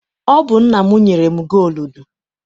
Ọ bụ nna m nyere m gooludu.